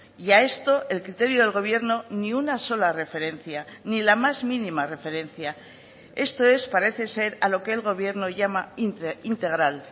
y a esto el criterio del gobierno ni una sola referencia ni la más mínima referencia esto es parece ser a lo que el gobierno llama integral